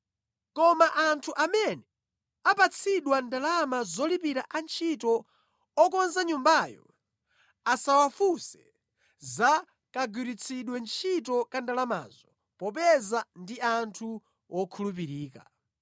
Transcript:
Koma anthu amene apatsidwa ndalama zolipira antchito okonza Nyumbayo asawafunse za kagwiritsidwe ntchito ka ndalamazo, popeza ndi anthu wokhulupirika.”